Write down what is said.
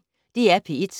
DR P1